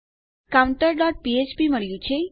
આપણને counterફ્ફ્પ મળ્યું છે